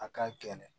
A ka gɛlɛn